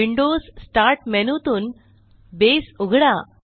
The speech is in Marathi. विंडोज स्टार्ट मेनूतून बसे उघडा